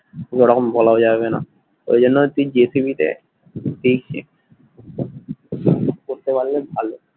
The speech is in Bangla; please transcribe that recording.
ওরকম বলাও যাবে না ওই জন্য তুই জি টিভি তে দেখবি করতে পারলে ভালো